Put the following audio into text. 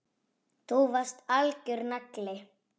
Þú varst algjör nagli.